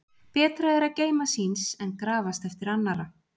Betra er að geyma síns en grafast eftir annarra.